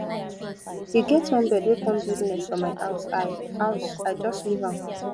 e get one bird wey come build nest for my house i house i just leave am